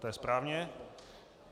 To je správně.